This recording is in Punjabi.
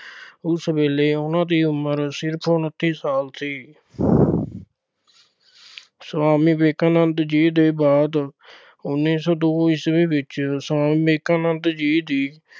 ਉਸ ਵੇਲੇ ਉਹਨਾਂ ਦੀ ਉਮਰ ਸਿਰਫ ਉਨੱਤੀ ਸਾਲ ਸੀ। ਸੁਆਮੀ ਵਿਵੇਕਾਨੰਦ ਜੀ ਦੇ ਬਾਅਦ ਉੱਨੀ ਸੌ ਦੋ ਈਸਵੀ ਵਿੱਚ ਸੁਆਮੀ ਵਿਵੇਕਾਨੰਦ ਜੀ ਦੀ